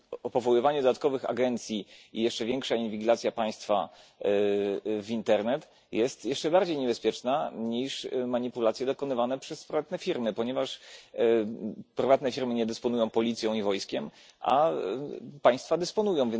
Powoływanie dodatkowych agencji i jeszcze większa inwigilacja państwa w internet jest jeszcze bardziej niebezpieczna niż manipulacje dokonywane przez prywatne firmy, ponieważ prywatne firmy nie dysponują policją i wojskiem, a państwa dysponują.